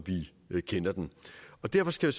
vi kender den derfor skal